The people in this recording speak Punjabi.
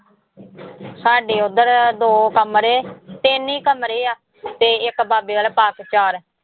ਸਾਡੇ ਉੱਧਰ ਦੋ ਕਮਰੇ ਤਿੰਨ ਹੀ ਕਮਰੇ ਆ ਤੇ ਇੱਕ ਬਾਬੇ ਵਾਲਾ ਪਾ ਕੇ ਚਾਰ।